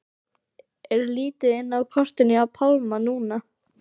Er lítið inn á kortinu hjá Pálma núna?